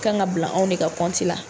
kan ka bila anw de ka la.